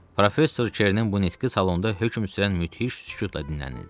Professor Kernin bu nitqi salonda hökm sürən müthiş sükutla dinlənildi.